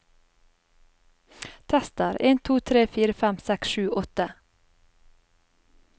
Tester en to tre fire fem seks sju åtte